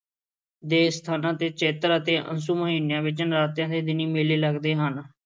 ਦੇ ਅਸਥਾਨਾਂ 'ਤੇ ਚੇਤਰ ਅਤੇ ਅੱਸੂ ਮਹੀਨਿਆਂ ਵਿੱਚ ਨਰਾਤਿਆਂ ਦੇ ਦਿਨੀਂ ਮੇਲੇ ਲੱਗਦੇ ਹਨ।